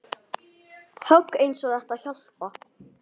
Hún virtist annars hugar.